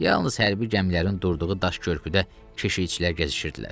Yalnız hərbi gəmilərin durduğu daş körpüdə keşikçilər gəzişirdilər.